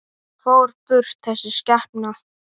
Og fór burt, þessi skepna.